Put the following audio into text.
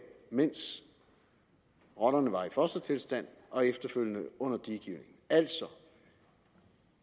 mens rotterne var i fostertilstand og efterfølgende under diegivning